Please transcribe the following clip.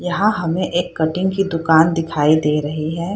यहाँ हमें एक कटिंग की दुकान दिखाई दे रही है।